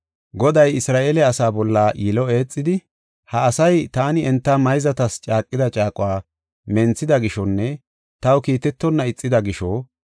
Goday Isra7eele asaa bolla yilo eexidi, “Ha asay taani enta mayzatas caaqida caaquwa menthida gishonne taw kiitetonna ixida gisho,